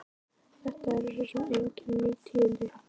Þetta eru svo sem engin ný tíðindi.